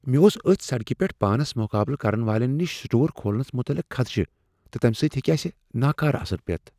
مےٚ اوس اتھۍ سڑکہ پیٹھ پانس مقابلہٕ کرن والین نشی سٹور کھولنس متعلق خدشہٕ تہٕ تمہ سۭتۍ ہیٚکہ اسہ ناکارٕہ اثر پیتھ۔